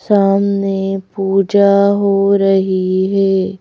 सामने पूजा हो रही है।